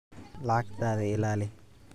Lacagtaada ilaali.